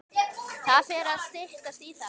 Það fer að styttast í það.